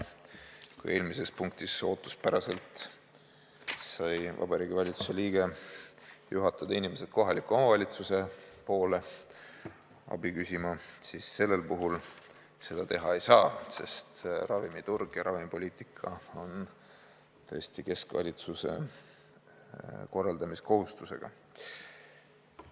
Kui eelmises punktis sai Vabariigi Valitsuse liige ootuspäraselt juhatada inimesed kohaliku omavalitsuse poole abi küsima, siis sellel puhul seda teha ei saa, sest ravimiturg ja ravimipoliitika on Eesti keskvalitsuse korraldamiskohustusega.